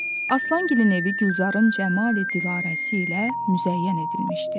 Aslangilin evi Gülzarın Cəmali Dilarəsi ilə müzəyyən edilmişdi.